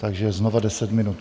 Takže znova 10 minut.